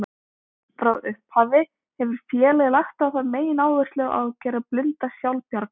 Frá upphafi hefur félagið lagt á það megináherslu að gera blinda sjálfbjarga.